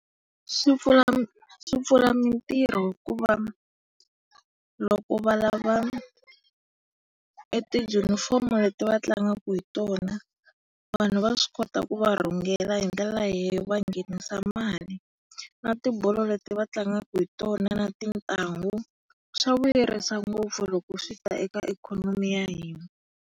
Swi pfula swi pfula mitirho hikuva loko va lava e tijunifomu leti va tlangaka hi tona vanhu va swi kota ku va rhungela. Hi ndlela leyo va nghenisa mali. Na tibolo leti va tlangaka hi tona na ti ntangu, swa vuyerisa ngopfu loko swi ta eka ikhonomi ya hina.